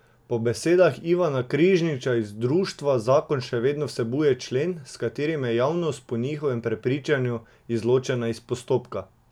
Po besedah Ivana Križniča iz društva zakon še vedno vsebuje člen, s katerim je javnost po njihovem prepričanju izločena iz postopka.